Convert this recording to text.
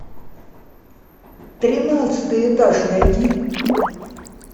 тринадцатый этаж найди